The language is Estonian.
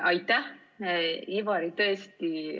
Aitäh, Ivari!